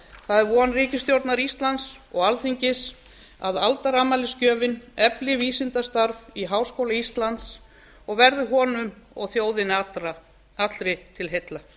það er von ríkisstjórnar íslands og alþingis að aldarafmælisgjöfin efli vísindastarf í háskóla íslands og verði honum og þjóðinni allri til heilla